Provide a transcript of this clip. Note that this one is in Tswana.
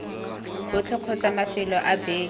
botlhe kgotsa mafelo a beke